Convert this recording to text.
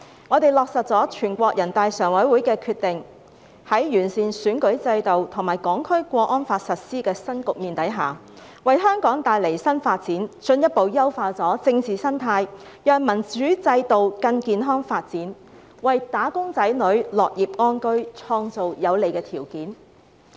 我們落實了全國人大常委會的決定，在完善選舉制度及《香港國安法》實施的新局面下，為香港帶來新發展，進一步優化政治生態，讓民主制度更健康發展，也為"打工仔女"的樂業安居，創造有利的條件。